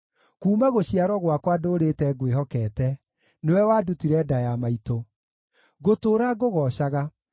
Kuuma gũciarwo gwakwa ndũũrĩte ngwĩhokete; nĩwe wandutire nda ya maitũ. Ngũtũũra ngũgoocaga.